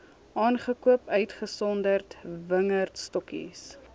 aangekoop uitgesonderd wingerdstokkies